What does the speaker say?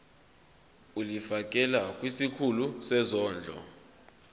ulifiakela kwisikulu sezondlo